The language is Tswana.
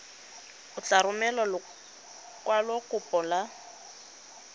o tla romela lekwalokopo la